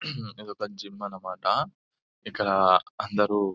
ఊహ్హ్ఇ దొక జిమ్ అన్న మాట ఇక్కడ అందరూ --